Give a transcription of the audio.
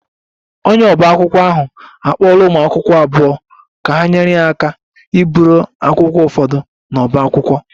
Onye ọba akwụkwọ ahụ akpọọla ụmụ akwụkwọ abụọ ka ha nyere ya aka iburu akwụkwọ ụfọdụ n'ọbá akwụkwọ